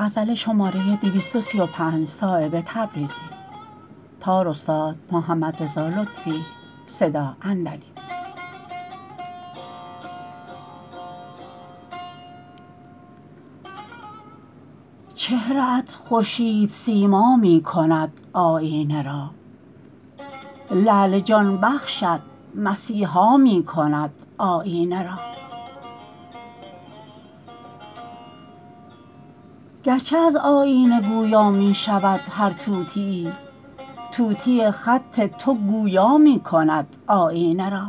چهره ات خورشید سیما می کند آیینه را لعل جان بخشت مسیحا می کند آیینه را گرچه از آیینه گویا می شود هر طوطیی طوطی خط تو گویا می کند آیینه را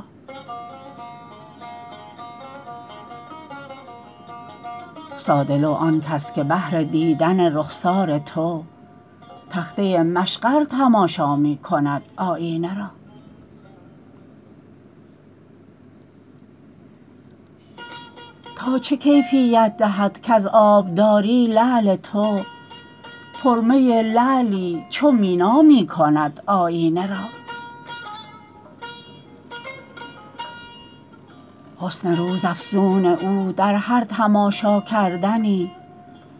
ساده لوح آن کس که بهر دیدن رخسار تو تخته مشقر تماشا می کند آیینه را تا چه کیفیت دهد کز آبداری لعل تو پر می لعلی چو مینا می کند آیینه را حسن روزافزون او در هر تماشا کردنی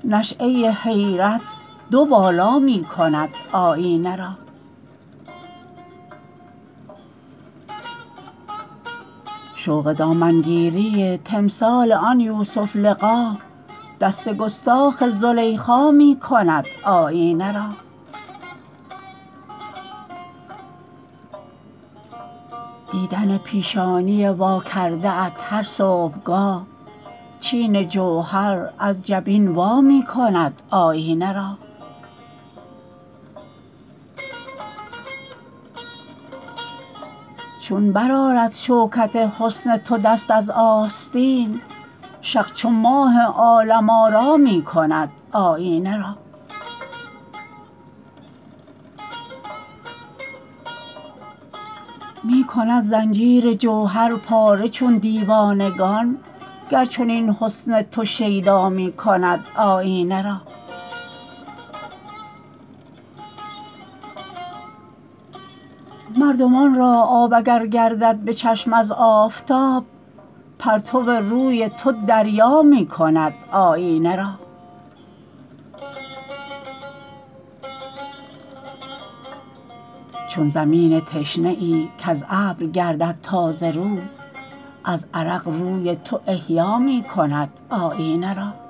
نشأه حیرت دو بالا می کند آیینه را شوق دامنگیری تمثال آن یوسف لقا دست گستاخ زلیخا می کند آیینه را دیدن پیشانی واکرده ات هر صبحگاه چین جوهر از جبین وا می کند آیینه را چون برآرد شوکت حسن تو دست از آستین شق چو ماه عالم آرا می کند آیینه را می کند زنجیر جوهر پاره چون دیوانگان گر چنین حسن تو شیدا می کند آیینه را مردمان را آب اگر گردد به چشم از آفتاب پرتو روی تو دریا می کند آیینه را چون زمین تشنه ای کز ابر گردد تازه رو از عرق روی تو احیا می کند آیینه را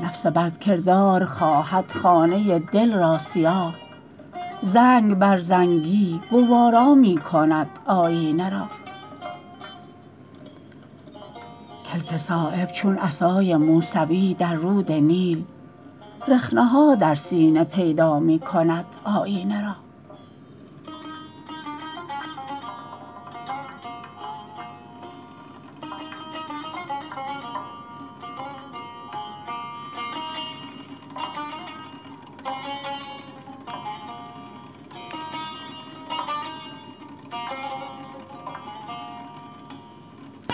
نفس بدکردار خواهد خانه دل را سیاه زنگ بر زنگی گوارا می کند آیینه را کلک صایب چون عصای موسوی در رود نیل رخنه ها در سینه پیدا می کند آیینه را